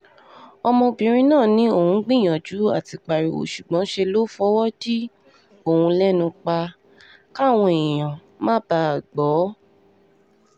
ọmọbìnrin náà ní òun gbìyànjú àti pariwo ṣùgbọ́n ṣe ló fọwọ́ dí òun lẹ́nu pa káwọn èèyàn má bàa gbó